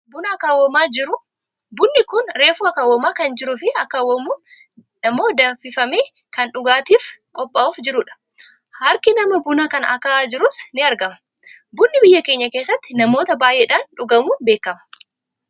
buna akaawwamaa jiru. bunni kun reefu akaawwamaa kan jiruufi akaawwamuun ammoo danfifa, ee kan dhugaatiif kophaa'uuf jirudha. harki nama buna kana akaa'aa jiruus ni argama. bunni biyya keenya keessatti namoota baayyeedhaan dhugamuun beekkama.